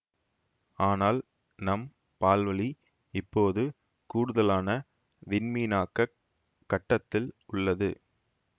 அனால் நம் பால்வழி இப்போது கூடுதலான விண்மீனாக்கக் கட்டத்தில் உள்ளது